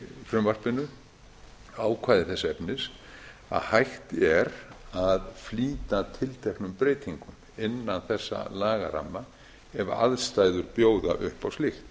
frumvarpinu ákvæði þess efnis að hægt er að flýta tilteknum breytingum innan þessa lagaramma ef aðstæður bjóða upp á slíkt